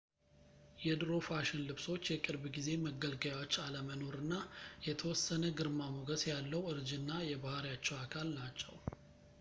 የድሮ ፋሽን ልብሶች የቅርብ ጊዜ መገልገያዎች አለመኖር እና የተወሰነ ግርማሞገስ ያለው እርጅና የባሕሪያቸው አካል ናቸው